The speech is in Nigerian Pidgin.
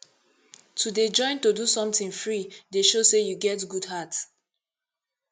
to dey join to do sometin free dey show sey you get good heart